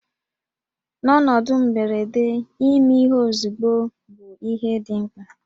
N'ọnọdụ mberede, ime ihe ozugbo bụ ihe dị mkpa